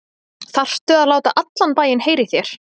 ÞARFTU AÐ LÁTA ALLAN BÆINN HEYRA Í ÞÉR!